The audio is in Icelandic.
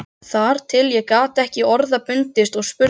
Þar til ég gat ekki orða bundist og spurði